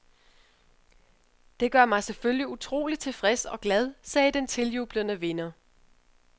Det gør mig selvfølgelig utrolig tilfreds og glad, sagde den tiljublede vinder.